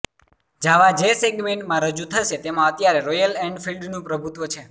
જાવા જે સેગમેન્ટમાં રજૂ થશે તેમાં અત્યારે રોયલ એન્ફિલ્ડનું પ્રભુત્વ છે